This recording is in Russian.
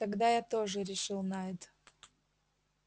тогда я тоже решил найд